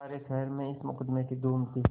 सारे शहर में इस मुकदमें की धूम थी